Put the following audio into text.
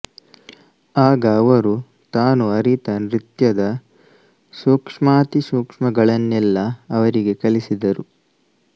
ಆಗ ಅವರು ತಾನು ಅರಿತ ನೃತ್ಯದ ಸೂಕ್ಷ್ಮಾತಿಸೂಕ್ಷ್ಮಗಳನೆಲ್ಲಾ ಅವರಿಗೆ ಕಲಿಸಿದರು